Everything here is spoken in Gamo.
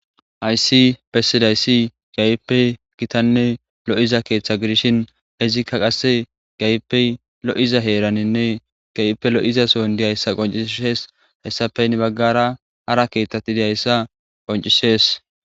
Aysi pesidaysi gayipe gitanne lo'iza keeththa gidishin izikka qasse gaype lo'iza heeraninne gayipe lo'iza son diyayssa qoncishees hessafey ne baggara ara keeththati diyayssa qoncishees.